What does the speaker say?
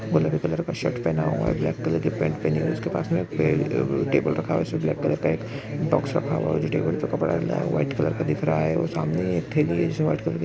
गुलाबी कलर का शर्ट पहना हुआ है ब्लैक कलर की पैंट पहनी हुई इसके पास में एक टेबल रखा हुआ उसमें ब्लैक कलर का एक बॉक्स रखा हुआ है जो टेबल पर कपडा है वो वाइट कलर का दिख रहा है और सामने एक थेली है जो वाइट कलर --